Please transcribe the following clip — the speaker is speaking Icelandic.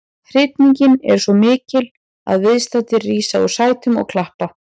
Hrifningin er svo mikil að viðstaddir rísa úr sætum og klappa.